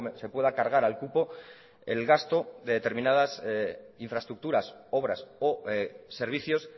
se pueda cargar al cupo el gasto de determinadas infraestructuras obras o servicios